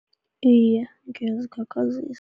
Iye, ngiyazikhakhazisa.